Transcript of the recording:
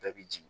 Bɛɛ bi jigin